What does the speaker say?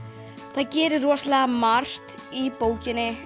það gerist rosalega margt í bókinni